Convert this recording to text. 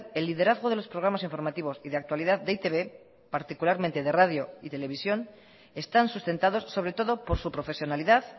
el liderazgo de los programas informativos y de actualidad de e i te be particularmente de radio y televisión están sustentados sobre todo por su profesionalidad